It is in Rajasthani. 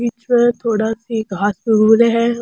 पीछे थोड़ा सी घास उग रहे है।